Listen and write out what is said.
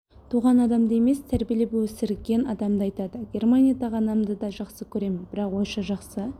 туған адамды емес тәрбиелеп өмірген адамды айтады германиядағы анамды да жақсы көремін бірақ ойша жақсы